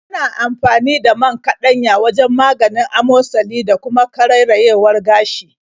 Ana amfani da man kaɗanya wajen maganin amosali da kuma karerayewar gashi.